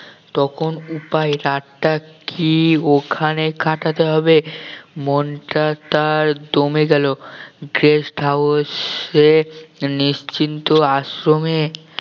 তখন উপায় রাতটা কি ওখানে কাটাতে হবে মনটা তার দমে গেল guest house এ নিশ্চিন্ত আশ্রমে